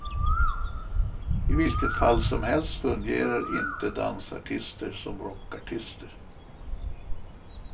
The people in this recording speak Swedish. I vilket fall som helst fungerar inte dansartister som rockartister.